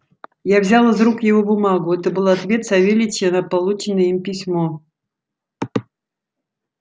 я взял из рук его бумагу это был ответ савельича на полученное им письмо